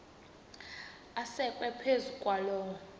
asekwe phezu kwaloo